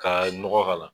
Ka nɔgɔ k'a la